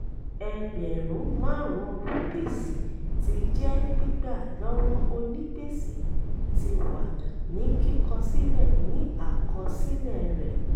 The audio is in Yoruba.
ẹgbẹ̀rún márùn-ún rúpíìsì ti jẹ́ gbígbà lọ́wọ onígbèsè ti wà ní kíkọ sílẹ̀ ní àkọsílẹ̀ rẹ̀.